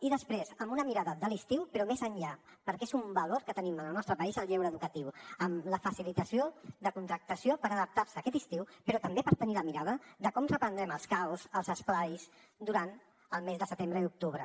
i després amb una mirada de l’estiu però més enllà perquè és un valor que tenim en el nostre país el lleure educatiu amb la facilitació de contractació per adaptar se aquest estiu però també per tenir la mirada de com reprendrem els caus els esplais durant el mes de setembre i d’octubre